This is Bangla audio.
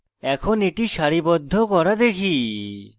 এখন এটি সারিবদ্ধ করা দেখি